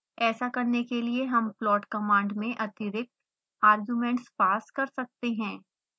ऐसा करने के लिए हम प्लॉट कमांड में अतिरिक्त आर्गुमेंट्स पास कर सकते हैं